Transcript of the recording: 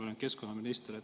Ma olin keskkonnaminister.